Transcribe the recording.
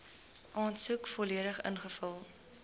aansoek volledig ingevul